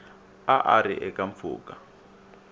a a ri eka mpfhuka